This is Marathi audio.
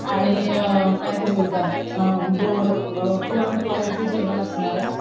आणि काय ते बोलतात अअ गोड पूरन पोळ्यांच जेवण असणारे.